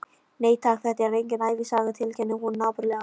Nei, takk, þetta er engin ævisaga, tilkynnti hún napurlega.